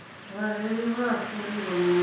vhareili vha a fhuriwa na